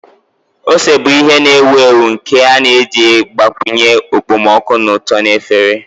Ose bụ ihe na-ewu ewu nke a na-eji agbakwunye okpomọkụ na ụtọ na efere.